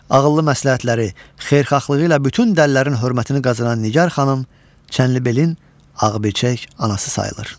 Ağıllı məsləhətləri, xeyirxahlığı ilə bütün dəlilərin hörmətini qazanan Nigar xanım Çənlibelin Ağbirçək anası sayılır.